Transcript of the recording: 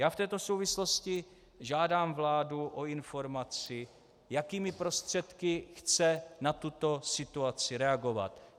Já v této souvislosti žádám vládu o informaci, jakými prostředky chce na tuto situaci reagovat.